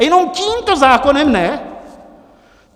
A jenom tímto zákonem ne?